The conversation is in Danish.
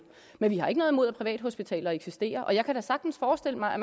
men vi har ikke noget imod at privathospitaler eksisterer og jeg kan da sagtens forestille mig at